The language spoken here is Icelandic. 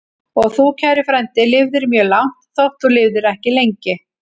Og þú, kæri frændi, lifðir mjög langt, þótt þú lifðir ekki lengi.